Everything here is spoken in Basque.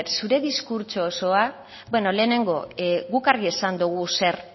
zure diskurtso osoa beno lehenengo guk argi esan dogu zer